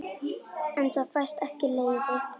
En það fæst ekki leyfi.